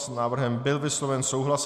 S návrhem byl vysloven souhlas.